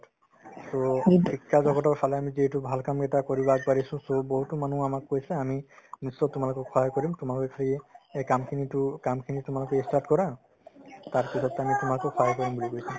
to শিক্ষাজগতৰ ফালে আমি যিহেতু আমাৰ ভাল কাম এটা কৰিব আগবাঢ়িছো so বৰ্তমানো আমাক কৈছে আমি নিশ্চয় সহায় কৰিম তোমালোকে খালি সেই কামখিনিতো~ কামখিনি তোমালোকে ই start কৰা তাৰপিছত to আমি তোমাকো সহায় কৰিম বুলি কৈছে